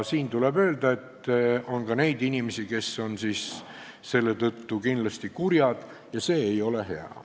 Siinkohal tuleb öelda, et on ka neid inimesi, kes on siis selle tõttu kindlasti kurjad ja see ei ole hea.